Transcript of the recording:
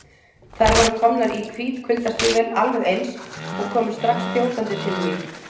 Þær voru komnar í hvít kuldastígvél, alveg eins, og komu strax þjótandi til mín.